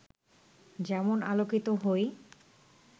যেমন আলোকিত হই